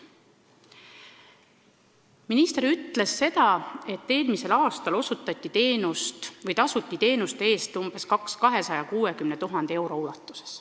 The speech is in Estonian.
Minister ütles, et eelmisel aastal osutati teenust või tasuti teenuste eest umbes 260 000 eurot.